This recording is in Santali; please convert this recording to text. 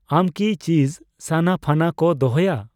ᱟᱢ ᱠᱤ ᱪᱤᱡ ᱥᱟᱱᱟᱯᱷᱟᱱᱟ ᱠᱚ ᱫᱚᱦᱚᱭᱟ?